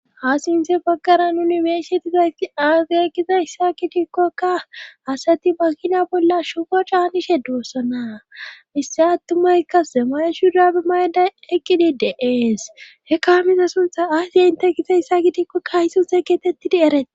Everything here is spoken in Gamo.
Ha sinze baggaran yunibeesetizaysti aage ekiza issa kitikkokka asati makina bolla shogo caanishe diwoossana issa attumayka zemayeshu daabi mayday eqqidideees hekkaha miza suntha aysiye inte gize issa kitikkokka hay sunse geetettidi eret.